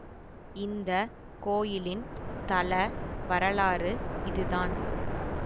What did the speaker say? இந்த கோயிலின் தல வரலாறு இதுதான்